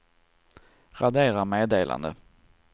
radera meddelande